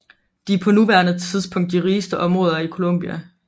De er på nuværende tidspunkt de rigeste områder i Colombia